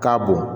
K'a bon